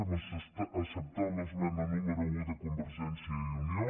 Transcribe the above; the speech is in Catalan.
hem acceptat l’esmena número un de convergència i unió